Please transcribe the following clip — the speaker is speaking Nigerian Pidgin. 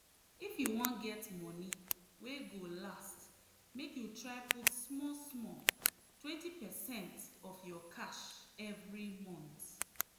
if you wan get money wey go last make you try put small-small 20 percent of your cash every month.